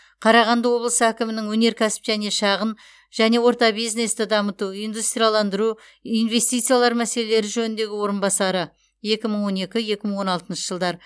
қарағанды облысы әкімінің өнеркәсіп және шағын және орта бизнесті дамыту индустрияландыру инвестициялар мәселелері жөніндегі орынбасары екі мың он екі екі мың он алтыншы жылдар